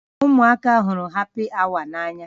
Ụmụaka hụrụ hapi awa n'anya